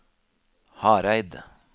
Hareid